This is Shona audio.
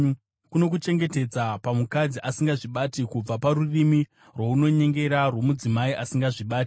kunokuchengetedza pamukadzi asingazvibati, kubva parurimi runonyengera rwomudzimai asingazvibati.